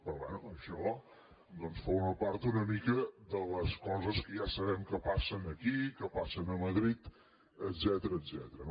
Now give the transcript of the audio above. però bé això doncs forma part una mica de les coses que ja sabem que passen aquí que passen a madrid etcètera